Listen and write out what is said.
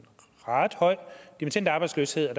ret høj dimittendarbejdsløshed og